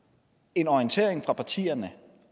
en orientering fra partierne